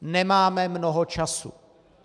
Nemáme mnoho času.